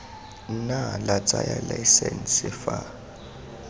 nna la tsaya laesense fa